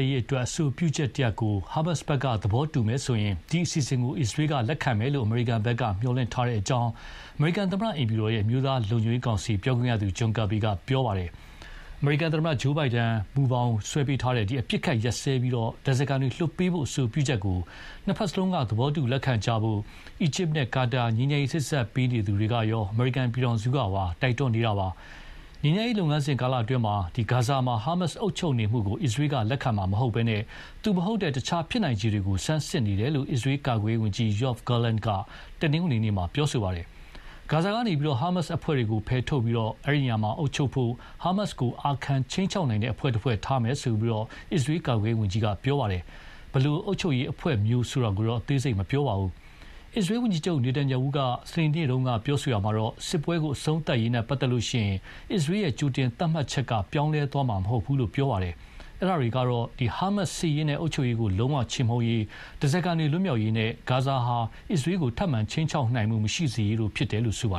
ရေးအတွက် အဆိုပြုချက်တရပ်ကို ဟာမတ်က သဘောတူလိုက်မယ်ဆိုရင် ဒီအစီအစဉ်ကို အစ္စရေးကလက်ခံမယ်လို့ အမေရိကန်ဘက်က မျှော်လင့်ထားကြောင်း သမ္မတအိမ်ဖြူတော် အမျိုးသားလုံခြုံရေးကောင်စီပြောခွင့်ရသူ က ပြောပါတယ်။ အမေရိကန်သမ္မတ Joe Biden မူကြမ်းဆွဲပေးထားတဲ့ အပစ်အခတ်ရပ်စဲပြီး ဓါးစားခံတွေလွှတ်ပေးဖို့ အဆိုပြုချက်ကို နှစ်ဖက်စလုံးက သဘောတူလက်ခံကြဖို့ အီဂျစ်နဲ့ကာတာ ငြိမ်းချမ်းရေးစေ့စပ်ပေးသူတွေကရော အမေရိကန်ပြည်ထောင်စုကပါ တိုက်တွန်းနေပါတယ်။ ငြိမ်းချမ်းရေးလုပ်ငန်းစဉ်ကာလအတွင်း ဂါဇာမှာ ဟာမတ်စ်က အုပ်ချုပ်နေတာကို အစ္စရေးက လက်ခံမှာမဟုတ်ဘဲ သူမဟုတ်တဲ့ အခြားဖြစ်နိုင်ခြေတွေကို ဆန်းစစ်နေတယ်လို့ အစ္စရေးကာကွယ်ရေးဝန်ကြီး Yoav Gallant က တနင်္ဂနွေနေ့မှာ ပြောပါတယ်။ ဂါဇာကနေ ဟာမတ်စ်အဖွဲ့တွေကို ဖယ်ထုတ်ပြီး အဲဒီနေရာမှာ အုပ်ချုပ်ဖို့ ဟာမတ်စ်ကို အာခံခြိမ်းခြောက်နိုင်တဲ့ တဖွဲ့ဖွဲ့ ထားမယ်လို့ အစ္စရေးကာကွယ်ရေးဝန်ကြီးက ပြောပါတယ်။ ဘယ်လို အုပ်ချုပ်ရေးအဖွဲ့မျိုးဆိုတာကိုတော့ အသေးစိတ်မပြောပါဘူး။ အစ္စရေးဝန်ကြီးချုပ် နေတန်ရာဟုက စနေနေ့တုန်းက ပြောရာမှာတော့ စစ်ပွဲအဆုံးသတ်ရေးနဲ့ပတ်သက်ရင် အစ္စရေးကြိုတင်သတ်မှတ်ချက်က ပြောင်းလဲသွားမှာမဟုတ်ဘူးလို့ ပြောခဲ့ပါတယ်။ အဲဒါတွေကတော့ ဟာမတ်စ် စစ်ရေးနဲ့အုပ်ချုပ်ရေးကို ချေမှုန်းရေး၊ ဓါးစာခံတွေလွတ်မြောက်ရေးနဲ့ ဂါဇာဟာ အစ္စရေးကိုခြိမ်းခြောက်နိုင်မှုမရှိစေရေးတို့ဖြစ်တယ်လို့ ဆိုပါ